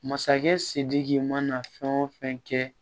Masakɛ sidiki mana fɛn o fɛn kɛ